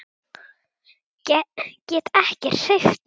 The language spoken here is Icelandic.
Get ekki hreyft mig.